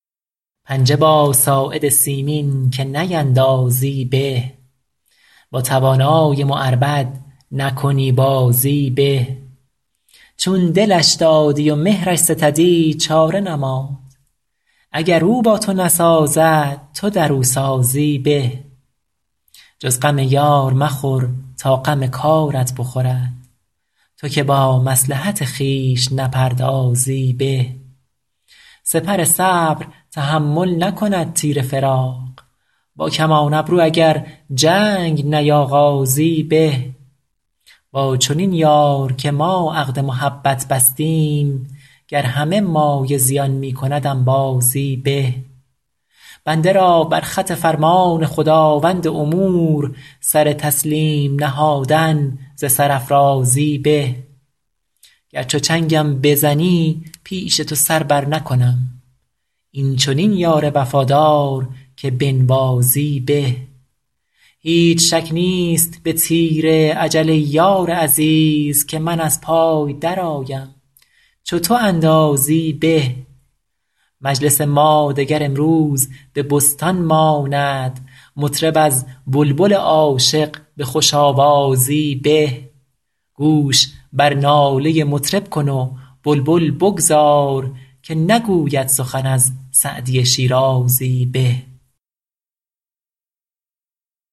پنجه با ساعد سیمین که نیندازی به با توانای معربد نکنی بازی به چون دلش دادی و مهرش ستدی چاره نماند اگر او با تو نسازد تو در او سازی به جز غم یار مخور تا غم کارت بخورد تو که با مصلحت خویش نپردازی به سپر صبر تحمل نکند تیر فراق با کمان ابرو اگر جنگ نیاغازی به با چنین یار که ما عقد محبت بستیم گر همه مایه زیان می کند انبازی به بنده را بر خط فرمان خداوند امور سر تسلیم نهادن ز سرافرازی به گر چو چنگم بزنی پیش تو سر برنکنم این چنین یار وفادار که بنوازی به هیچ شک نیست به تیر اجل ای یار عزیز که من از پای درآیم چو تو اندازی به مجلس ما دگر امروز به بستان ماند مطرب از بلبل عاشق به خوش آوازی به گوش بر ناله مطرب کن و بلبل بگذار که نگوید سخن از سعدی شیرازی به